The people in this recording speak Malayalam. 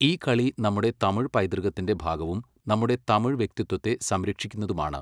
ഈ കളി നമ്മുടെ തമിഴ് പൈതൃകത്തിന്റെ ഭാഗവും നമ്മുടെ തമിഴ് വ്യക്തിത്വത്തെ സംരക്ഷിക്കുന്നതുമാണ്.